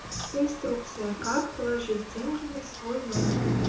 инструкция как положить деньги на свой номер